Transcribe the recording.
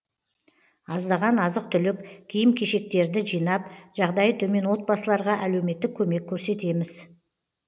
аздаған азық түлік киім кешектерді жинап жағдайы төмен отбасыларға әлеуметтік көмек көрсетеміз